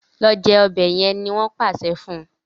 Lọ jé ọbẹ yen! ní wón pàṣẹ fún.